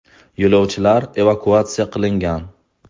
Yo‘lovchilar evakuatsiya qilingan.